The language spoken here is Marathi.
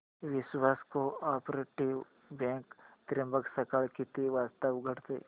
विश्वास कोऑपरेटीव बँक त्र्यंबक सकाळी किती वाजता उघडते